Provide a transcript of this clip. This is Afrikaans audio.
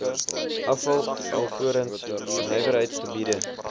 afval alvorens nywerheidsgebiede